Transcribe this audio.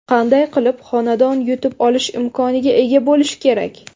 Qanday qilib xonadon yutib olish imkoniga ega bo‘lish kerak?